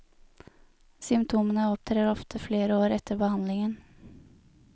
Symptomene opptrer ofte flere år etter behandlingen.